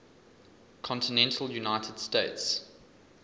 continental united states